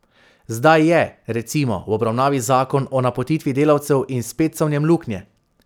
Zdaj je, recimo, v obravnavi zakon o napotitvi delavcev, in spet so v njem luknje.